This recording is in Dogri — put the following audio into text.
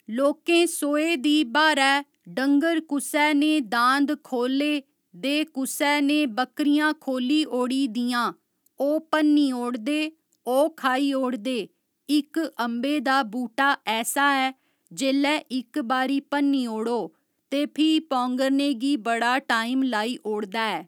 लोकें सोहे दी बाह्‌रै डंगर कुसै ने दांद खोह्‌ले दे कुसै ने बकरियां खोह्‌ली ओड़ी दियां ओह् भन्नी ओड़दे ओह् खाई ओड़दे इक अम्बे दा बूहटा ऐसा ऐ जेल्लै इक बारी भन्नी ओड़ो ते फ्ही पौंगरने गी बड़ा टाइम लाई ओड़दा ऐ